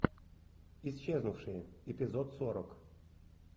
исчезнувшие эпизод сорок